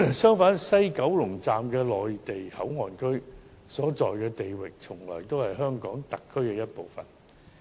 相反，西九龍站的內地口岸區所在地域，從來也是香港特區一部分。